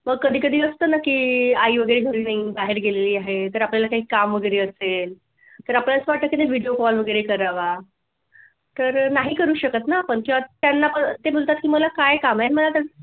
मग कधीतरी असत ना की आई वगैरे घरी नाही बाहेर गेलेला आहे तर आपल्याला काय काम वगैरे असेल तर आपल्याला असं वाटतं की video call वगैरे करावा तर नाही करू शकत ना आपण किंवा त्यांना पण ते बोलतात मला काय काम आहे.